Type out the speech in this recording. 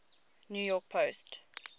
new york post